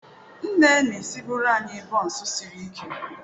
Nne na-esibuere anyị bonsu sirike.